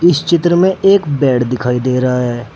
इस चित्र में एक बेड दिखाई दे रहा है।